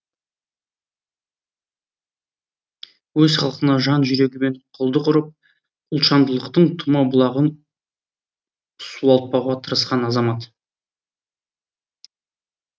өз халқына жан жүрегімен құлдық ұрып ұлтжандылықтың тұма бұлағын суалтпауға тырысқан азамат